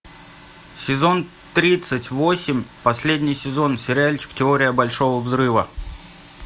сезон тридцать восемь последний сезон сериальчик теория большого взрыва